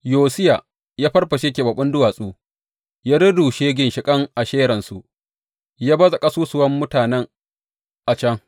Yosiya ya farfashe keɓaɓɓun duwatsu, ya rurrushe ginshiƙan Asheransu, ya baza ƙasusuwan mutane a can.